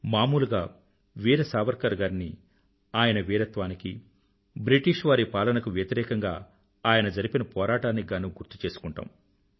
మామూలుగా వీర సావర్కర్ గారిని ఆయన వీరత్వానికీ బ్రిటిష్ వారి పాలనకు వ్యతిరేకంగా ఆయన జరిపిన పోరాటానికి గానూ గుర్తు చేసుకుంటాము